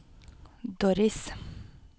Doris